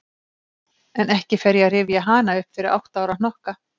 En ekki fer ég að rifja hana upp fyrir átta ára hnokka.